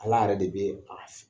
Ala yɛrɛ de bɛ